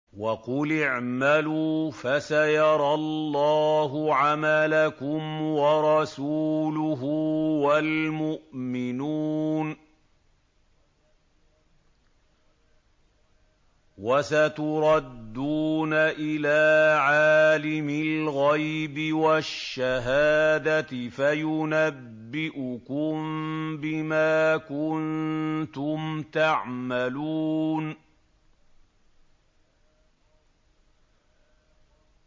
وَقُلِ اعْمَلُوا فَسَيَرَى اللَّهُ عَمَلَكُمْ وَرَسُولُهُ وَالْمُؤْمِنُونَ ۖ وَسَتُرَدُّونَ إِلَىٰ عَالِمِ الْغَيْبِ وَالشَّهَادَةِ فَيُنَبِّئُكُم بِمَا كُنتُمْ تَعْمَلُونَ